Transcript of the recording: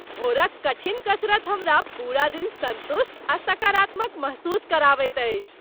भोरक कठिन कसरत हमरा पूरा दिन संतुष्ट आ सकारात्मक महसूस कराबैत अछि।